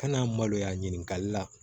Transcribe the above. Ka na maloya ɲininkali la